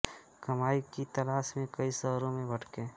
कमाई की तलाश में कई शहरों में भटके